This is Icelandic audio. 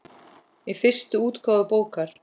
Í fyrstu útgáfu bókar